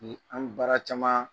An bɛ baara caman